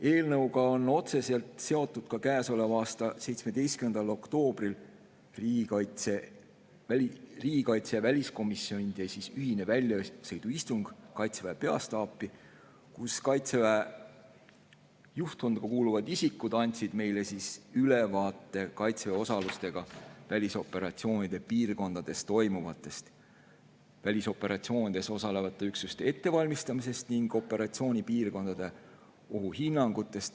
Eelnõuga on otseselt seotud ka käesoleva aasta 17. oktoobril riigikaitsekomisjoni ja väliskomisjoni ühine väljasõiduistung Kaitseväe peastaapi, kus Kaitseväe juhtkonda kuuluvad isikud andsid meile ülevaate Kaitseväe osalusega välisoperatsioonide piirkondades toimuvast, välisoperatsioonides osalevate üksuste ettevalmistamisest ning operatsioonipiirkondade ohuhinnangutest.